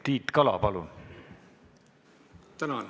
Tiit Kala, palun!